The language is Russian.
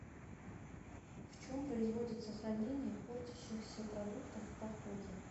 в чем производится хранение портящихся продуктов в походе